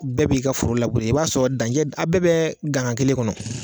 Bɛɛ b'i ka foro la go i b'a sɔrɔ dancɛ a' bɛɛ bɛɛ gangan kelen kɔnɔ